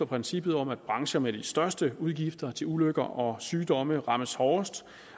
princippet om at brancher med de største udgifter til ulykker og sygdomme rammes hårdest